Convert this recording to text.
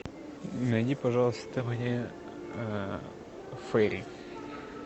найди пожалуйста мне фейри